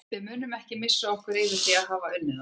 Við munum ekki missa okkur yfir því að hafa unnið þá.